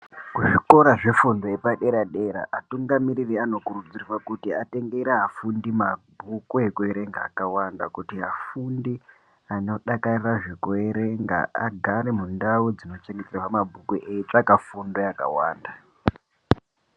Kuzvikora zvefundo yepadera dera atungamiriri anokurudzirwa kuti atengere afundi mabhuku ekuerenga akwanda kuti afundi anodakarira zvekuerenga agare mundau dzinochengeterwa mabhuku eitsvaka fundo yakawanda.